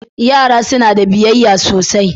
Yara suna da biyayya sosai.